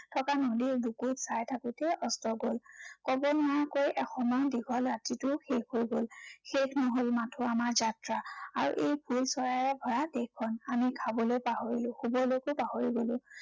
থকা নদীৰ বুকুত চাই থাকোতেই অস্ত গল। কৱ নোৱাৰাকৈয়ে এসময়ত দীঘল ৰাতিটো শেষ হৈ গল। শেষ নহল মাথো আমাৰ যাত্ৰা। আৰু এই ফুল চৰায়ে ভৰা দেশখন। আমি খাবলৈ পাহৰিলো, শুৱলৈকো পাহৰি গলো।